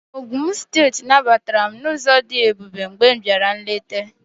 Ogụn steeti nabatara m n'ụzọ dị ebube mgbe m bịara nleta